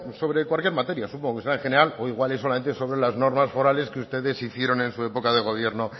sobre cualquier materia supongo que será en general o igual es solamente sobre las normas forales que ustedes hicieron en su época de gobierno